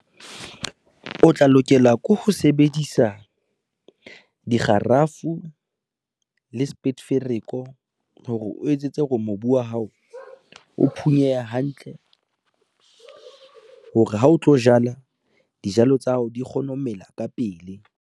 O tla lokela ke ho sebedisa, dikgarafu le spetefereko, hore o etsetse hore mobu wa hao o phunyehe hantle hore ha o tlo jala, dijalo tsa hao di kgone ho mela ka pele.